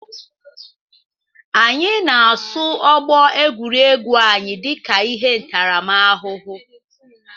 Anyị na-asụ ọgbọ egwuregwu anyị dịka ihe ntaramahụhụ